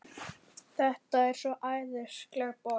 Þetta er svo æðisleg borg.